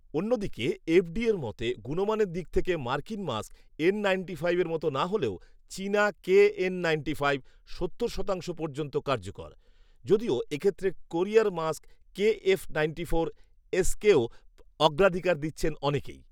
অন্যদিকে, এফডিএর মতে, গুণমানের দিক থেকে মার্কিন মাস্ক এন নাইন্টি ফাইভের মতো না হলেও চিনা কেএন নাইন্টি ফাইভ সত্তর শতাংশ পর্যন্ত কার্যকর, যদিও এক্ষেত্রে কোরিয়ার মাস্ক কেএফ নাইন্টি ফোর এসকেও অগ্রাধিকার দিচ্ছেন অনেকেই